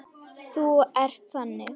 Þú ert þannig.